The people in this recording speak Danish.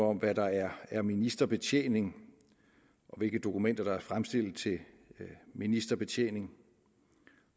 om hvad der er er ministerbetjening og hvilke dokumenter der er fremstillet til ministerbetjening